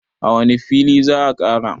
a wane fili za a Kara?